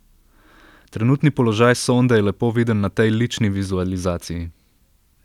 Trenutni položaj sonde je lepo viden na tej lični vizualizaciji.